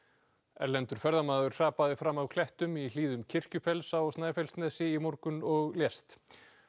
erlendur ferðamaður hrapaði fram af klettum í hlíðum á Snæfellsnesi í morgun og lést